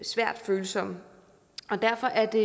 svært følsomme derfor er det